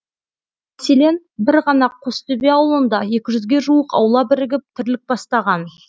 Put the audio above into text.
мәселен бір ғана қостөбе ауылында екі жүзге жуық аула бірігіп тірлік бастаған